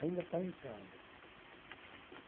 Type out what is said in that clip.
Ainda está em casa.